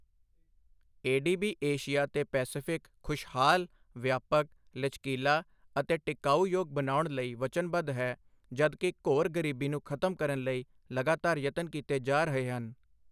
ADB. Asia ਤੇ Pacific ਖੁਸ਼ਹਾਲ, ਵਿਅਪਕ, ਲਚਕੀਲਾ ਅਤੇ ਟਿਕਾਊਯੋਗ ਬਨਾਉਣ ਲਈ ਵਚਨਬੱਧ ਹੈ ਜਦਕਿ ਘੋਰ ਗਰੀਬੀ ਨੂੰ ਖਤਮ ਕਰਨ ਲਈ ਲਗਾਤਾਰ ਯਤਨ ਕੀਤੇ ਜਾ ਰਹੇ ਹਨ।